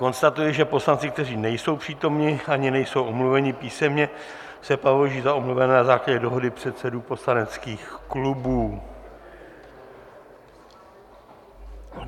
Konstatuji, že poslanci, kteří nejsou přítomni ani nejsou omluveni písemně, se považují za omluvené na základě dohody předsedů poslaneckých klubů.